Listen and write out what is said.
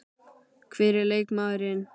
Hver er leikmaðurinn?